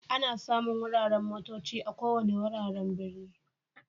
Ana samun wuraren motocci a ko wanni wuraren birni.